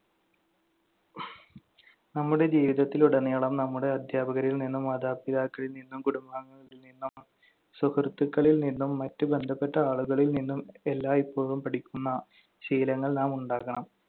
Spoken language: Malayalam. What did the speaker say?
നമ്മുടെ ജീവിതത്തിലുടനീളം നമ്മുടെ അധ്യാപകരിൽ നിന്നും മാതാപിതാക്കളിൽ നിന്നും കുടുംബാംഗങ്ങളിൽ നിന്നും സുഹൃത്തുക്കളിൽ നിന്നും മറ്റ് ബന്ധപ്പെട്ട ആളുകളിൽ നിന്നും എല്ലായ്‌പ്പോഴും പഠിക്കുന്ന ശീലങ്ങൾ നാം ഉണ്ടാക്കണം.